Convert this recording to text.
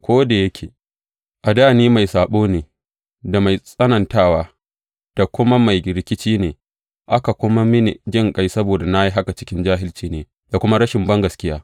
Ko da yake a dā ni mai saɓo da mai tsanantawa da kuma mai rikici ne, aka nuna mini jinƙai saboda na yi haka cikin jahilci ne da kuma rashin bangaskiya.